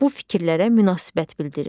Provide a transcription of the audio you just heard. Bu fikirlərə münasibət bildirin.